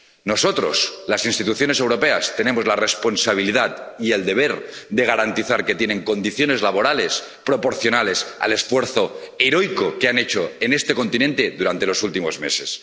Nosotros, las instituciones europeas, tenemos la responsabilidad y el deber de garantizar que tienen condiciones laborales proporcionales al esfuerzo heroico que han hecho en este continente durante los últimos meses.